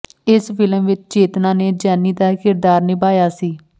ਇਸ ਫਿਲਮ ਵਿੱਚ ਚੇਤਨਾ ਨੇ ਜੈਨੀ ਦਾ ਕਿਰਦਾਰ ਨਿਭਾਇਆ ਸੀ